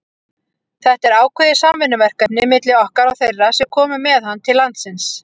Þetta er ákveðið samvinnuverkefni milli okkar og þeirra sem komu með hann til landsins.